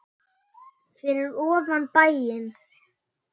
Fyrir ofan bæinn.